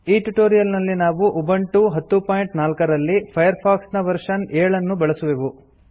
ಈ ಟ್ಯುಟೋರಿಯಲ್ ನಲ್ಲಿ ನಾವು ಉಬುಂಟು 1004 ರಲ್ಲಿ ಫೈರ್ಫಾಕ್ಸ್ ನ ವರ್ಷನ್ 70 ಅನ್ನು ಬಳಸುವೆವು